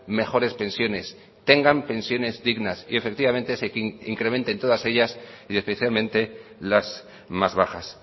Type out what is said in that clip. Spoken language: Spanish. mejores pensiones tengan pensiones dignas y efectivamente se incrementen todas ellas y especialmente las más bajas